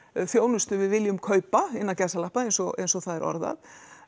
þjónustu við viljum kaupa innan gæsalappa eins og eins og það er orðað